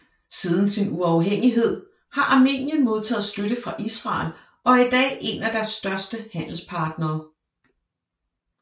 Siden sin uafhængighed har Armenien modtaget støtte fra Israel og er i dag en af deres største handelspartnere